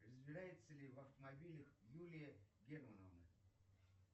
разбирается ли в автомобилях юлия германовна